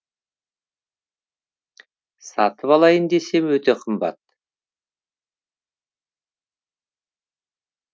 сатып алайын десем өте қымбат